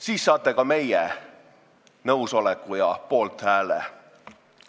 Siis saate ka meie nõusoleku ja poolthääle.